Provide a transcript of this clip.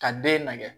Ka den nɛgɛ